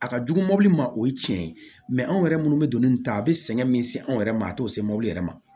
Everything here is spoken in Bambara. A ka jugu mɔbili ma o ye tiɲɛ ye anw yɛrɛ minnu bɛ don ni nin ta a bɛ sɛgɛn min se anw yɛrɛma a t'o se mɔbili yɛrɛ ma